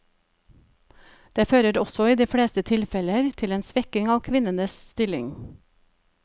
Det fører også i de fleste tilfeller til en svekking av kvinnenes stilling.